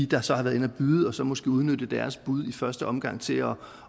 der så har været inde at byde og så måske udnytte deres bud i første omgang til at